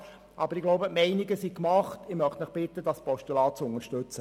Aber die Meinungen sind gemacht, und ich bitte Sie, dieses Postulat zu unterstützen.